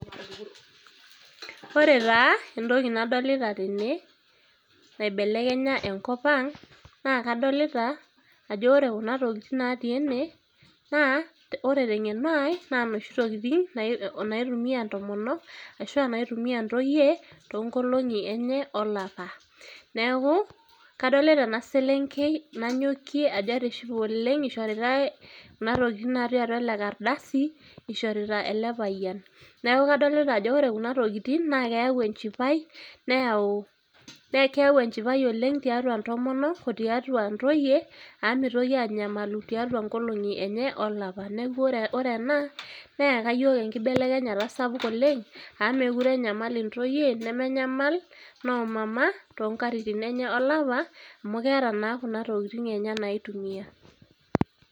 ore taa entoki nadolita tene, naibelekenya enkop ang' naa kadolita ajo ore kuna tokitin natii ene naa ore teng'eno ai naa noshi tokiting naitumia intomonok ashua naitumia intoyie tonkolong'i enye olapa. neeku kadolita ena selenkei nanyokie ajo etishipe oleng' ishoritae kuna tokiting natii atua ele kardasi ishorita ele payian neeku kadolita ajo ore kuna tokiting' naa keyau enchipai neyau ekeyawu enchipai oleng tiatua intomonok otiatua intoyie amu mitoki anyamalu tiatua nkolong'i enye olapa neeku ore ena neyaka yiok enkibelekenyata sapuk oleng' amu mekure enyamal intoyie nemenyamal noomama tonkatitin enye olapa amu keeta naa kuna tokitin enye naitumia.